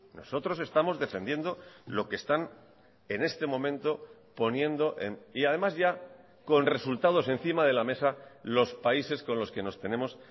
nosotros estamos defendiendo lo que están en este momento poniendo y además ya con resultados encima de la mesa los países con los que nos tenemos